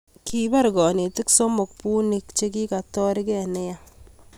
kibar kanetik somok bunik chekikatarkei neya